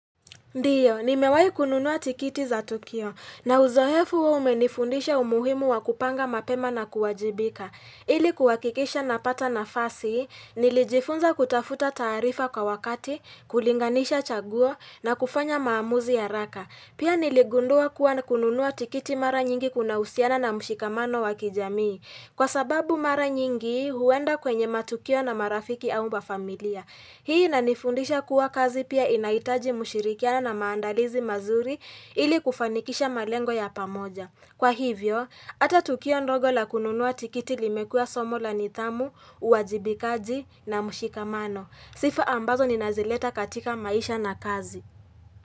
Ndio, nimewai kununua tikiti za Tukio. Na uzoefu umenifundisha umuhimu wa kupanga mapema na kuwajibika. Ili kuhakikisha napata na fasi, nilijifunza kutafuta taarifa kwa wakati, kulinganisha chaguo na kufanya maamuzi haraka. Pia niligundua kuwa na kununua tikiti mara nyingi kunahusiana na mshikamano wakijamii. Kwa sababu mara nyingi huenda kwenye matukio na marafiki au mafamilia. Hii inanifundisha kuwa kazi pia inahitaji mushirikiane na maandalizi mazuri ili kufanikisha malengo ya pamoja. Kwa hivyo, ata tukio ndogo la kununua tikiti limekuwa somo la nithamu, uwajibikaji na mushikamano. Sifa ambazo ni nazileta katika maisha na kazi.